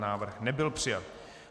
Návrh nebyl přijat.